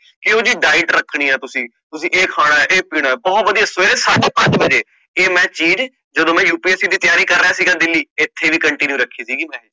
ਕਿ ਜੀ diet ਰੱਖਣੀ ਆ ਤੁਸੀਂ ਕਿ ਖਾਣਾ ਕਿ ਪੀਣਾ ਬਹੁਤ ਵਧਿਆ ਸਵੇਰੇ ਸਾਡੇ ਪੰਜ ਵਜੇ ਇਹ ਚੀਜ ਜਦੋ ਮੈਂ UPSC ਦੀ ਤਿਆਰੀ ਕਰ ਰਿਹਾ ਸੀਗਾ ਦਿੱਲੀ ਇਥੇ ਵੀ continue ਰੱਖੀ ਸੀਗੀ ਮੈਂ